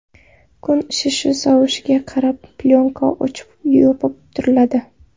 Kun isishi, sovishiga qarab plyonka ochib, yopib turiladi.